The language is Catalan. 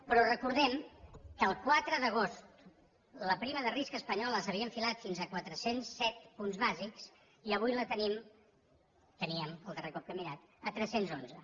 però recordem que el quatre d’agost la prima de risc espanyola s’havia enfilat fins a quatre cents i set punts bàsics i avui la tenim la teníem el darrer cop que he mirat a tres cents i onze